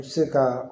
U bɛ se ka